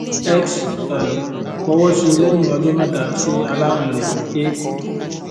x um fowọsí lẹyìn ọjọ mẹta sí aláwìn rẹ a